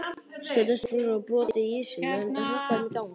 Stjörnustúlkur hafa brotið ísinn, mun þetta hrökkva þeim í gang?